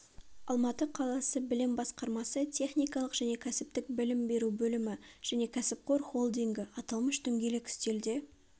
алматы қаласы білім басқармасы техникалық және кәсіптік білім беру бөлімі және кәсіпқор холдингі аталмыш дөңгелек үстелде